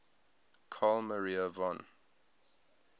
carl maria von